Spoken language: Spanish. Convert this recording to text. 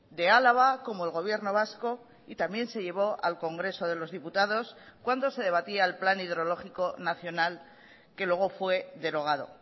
de álava como el gobierno vasco y también se llevó al congreso de los diputados cuando se debatía el plan hidrológico nacional que luego fue derogado